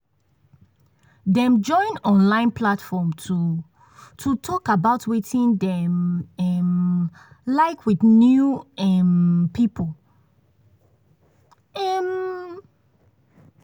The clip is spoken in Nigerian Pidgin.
dem join online platform to to talk about wetin dem um like with new um people. um